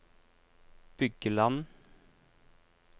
Bygland